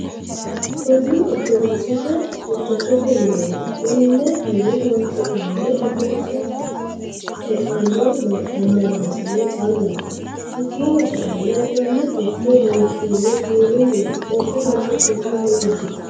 Kunni orittodoxete huucqtotte mineti konne mine horosidhanori orittodoxe e'ano amanasine callati hakiino sa'eena enanni furicho loosonihu siwiiluniti qoliteno lame furicho noosi.